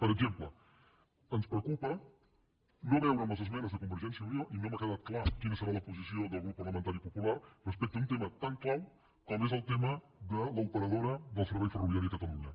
per exemple ens preocupa no veure en les esmenes de convergència i unió i no m’ha quedat clara quina serà la posició del grup parlamentari popular respecte a un tema tan clau com és el tema de l’operadora del servei ferroviari de catalunya